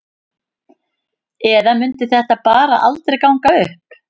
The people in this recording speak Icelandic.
Eða mundi þetta bara aldrei ganga upp?